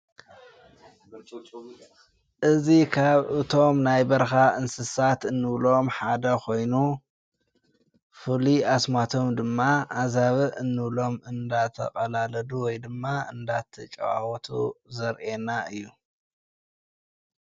እዙ ኻብ እቶም ናይ በርኻ እንስሳት እንብሎም ሓደ ኾይኑ ፍሊ ኣስማቶም ድማ ኣዛብ እኖብሎም እንዳተቐላለዱ ወይ ድማ እንዳቲ ጨዋወቱ ዘርኤና እዩ።